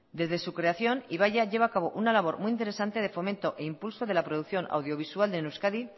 desde su creación ibaia lleva a cabo una labor muy interesante de fomento e impulso de la producción audiovisual en euskadi